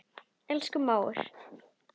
Elsku mágur.